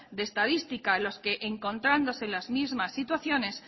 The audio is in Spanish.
de estadística los que encontrándose en las mismas situaciones